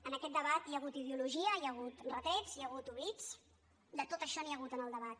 en aquest debat hi ha hagut ideologia hi ha hagut retrets hi ha hagut oblits de tot això n’hi ha hagut en el debat